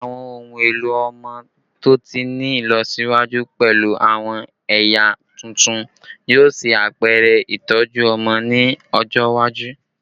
Awọn ohun elo ọmọ to ti ni ilọsiwaju pẹlu awọn ẹya tuntun yoo ṣe apẹrẹ itọju ọmọ ni ọjọ iwaju